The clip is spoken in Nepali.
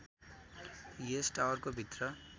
यस टावरको भित्र